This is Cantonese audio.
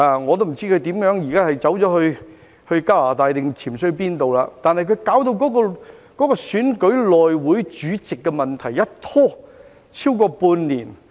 我不知他現在去了加拿大還是潛逃到哪裏，但他把選舉內會主席的問題一拖超過半年。